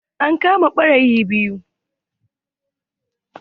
An kama ɓarayi biyu.